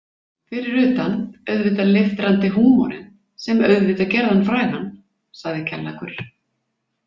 Fyrir utan auðvitað leiftrandi húmorinn sem auðvitað gerði hann frægan, sagði Kjallakur.